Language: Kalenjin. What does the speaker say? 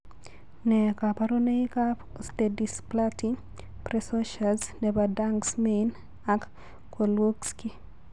Nee kabarunoikab Osteodysplasty precocious nebo Danks Mayne ak Kozlowski?